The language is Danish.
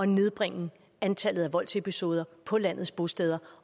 nedbringe antallet af voldsepisoder på landets bosteder